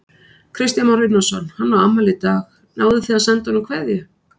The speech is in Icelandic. Kristján Már Unnarsson: Hann á afmæli í dag, náðuð þið að senda honum kveðju?